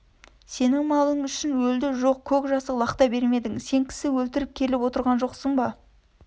сенің малың үшін өлді жоқ көк жасық лақта бермедің сен кісі өлгіріп келіп отырған жоқсың ба